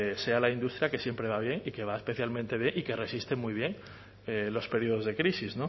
sea la industria que siempre va bien y que va especialmente bien y que resiste muy bien los períodos de crisis